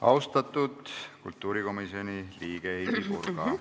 Austatud kultuurikomisjoni liige Heidy Purga!